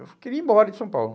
Eu queria ir embora de São Paulo.